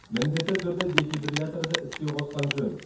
міндетті түрде дефибрилляторды іске қосқан жөн